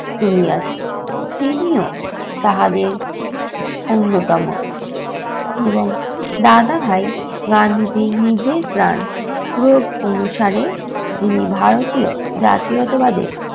তুলিয়াছে। তিনিও তাহাদের অন্যতম এবং দাদাভাই গান্ধীজীর নিজের প্রাণ অনুসারে যিনি ভারতীয় জাতীয়তাবাদের